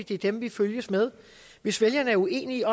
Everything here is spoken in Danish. det er dem vi følges med hvis vælgerne er uenige